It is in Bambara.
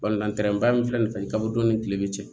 min filɛ nin fɛn kaba don ni kile bɛ cɛ